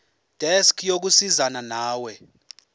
desk yokusizana nawe